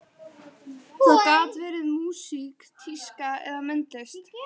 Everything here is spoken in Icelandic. Það gat verið músík, tíska eða myndlist.